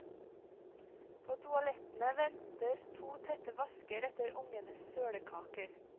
På toalettene venter to tette vasker etter ungenes sølekaker.